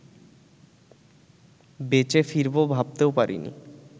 বেঁচে ফিরবো ভাবতেও পারিনি